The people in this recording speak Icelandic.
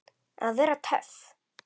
Að vera töff.